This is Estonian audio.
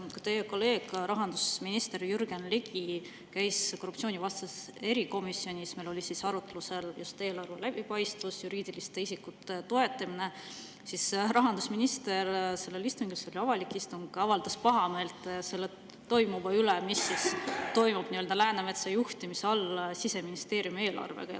Kui teie kolleeg, rahandusminister Jürgen Ligi käis korruptsioonivastases erikomisjonis, kus meil oli arutlusel just eelarve läbipaistvus, juriidiliste isikute toetamine, siis rahandusminister sellel istungil, mis oli avalik istung, avaldas pahameelt selle üle, mis toimub nii-öelda Läänemetsa juhtimise all Siseministeeriumi eelarvega.